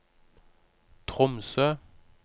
Tromsø